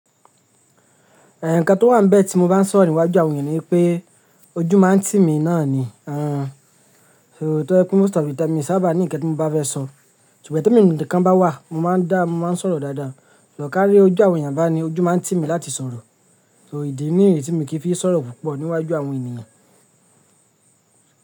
Ẹ nǹkan tó wà níbẹ̀ tí mo bá ń sọ̀rọ̀ níwájú àwọn ènìyàn ni wí pé ojú máa ń tì mí náà ni. To, most of the time mi n sábà ní ǹkan tí mo bá fẹ́ sọ. Ṣùgbọ́n tí èmi nìkan bá wà, mo máa ń dá, mo máa ń sọ̀rọ̀ dáadáa. Sò kárí ojú àwọn ènìyàn bá ní, ojú máa ń tì mí láti sọ̀rọ̀. So ìdí nìyí tí mí kì í fi sọ̀rọ̀ púpọ̀ níwájú àwọn ènìyàn.